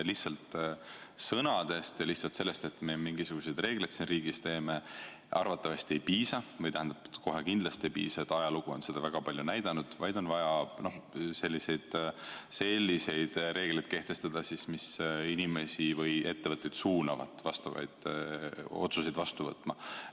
Lihtsalt sõnadest ja lihtsalt sellest, et me mingisuguseid reegleid siin riigis teeme, arvatavasti ei piisa – tähendab, kohe kindlasti ei piisa, ajalugu on seda väga hästi näidanud –, vaid on vaja selliseid reegleid kehtestada, mis suunavad inimesi või ettevõtteid vastavaid otsuseid vastu võtma.